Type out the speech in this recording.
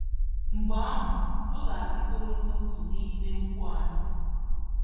Mgbe ahụ, ọ ga-arịgoro n'otu n'ime ụkwụ anyị.